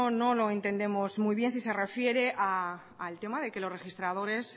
no lo entendemos muy bien si se refiere al tema de que los registradores